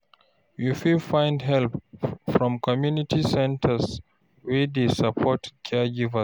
You fit find help from community centres wey dey support caregivers